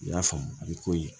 I y'a faamu a bɛ koyi